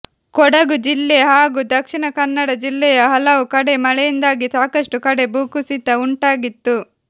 ಕೊಡಗು ಜಿಲ್ಲೆ ಹಾಗೂ ದಕ್ಷಿಣ ಕನ್ನಡ ಜಿಲ್ಲೆಯ ಹಲವು ಕಡೆ ಮಳೆಯಿಂದಾಗಿ ಸಾಕಷ್ಟು ಕಡೆ ಭೂಕುಸಿತ ಉಂಟಾಗಿತ್ತು